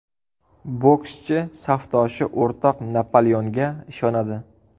Bokschi safdoshi o‘rtoq Napoleonga ishonadi.